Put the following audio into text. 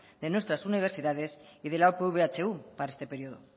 de nuestras universidad y de la upv ehu para este periodo